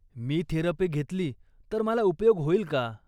मी therapy घेतली तर मला उपयोग होईल का?